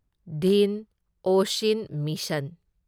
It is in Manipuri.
ꯗꯤꯟ ꯑꯣꯁꯤꯟ ꯃꯤꯁꯟ